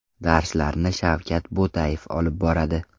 Darslarni Shavkat Butayev olib boradi.